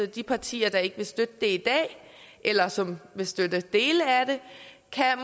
de partier der ikke vil støtte det i dag eller som vil støtte dele af det